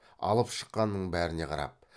алып шыққанның бәріне қарап